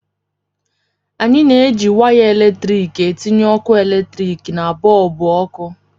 Anyị na-eji waya eletrik etinye ọkụ eletrik na bọlbụ ọkụ